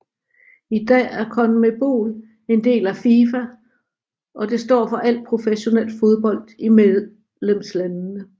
I dag er CONMEBOL en del af FIFA og det står for al professionel fodbold i medlemslandene